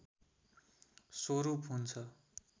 स्वरूप हुन्छ